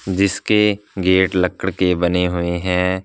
जिसके गेट लक्कड़ के बने हुए हैं।